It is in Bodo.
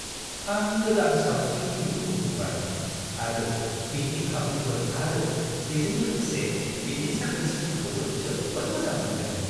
आं गोदान सावस्रि मिरुखौ नुबाय आरो बेनि खाबुफोर आरो बेजों लोगोसे बेनि साखोन-सिखोनखौबो जोबोद मोजां मोन्दों।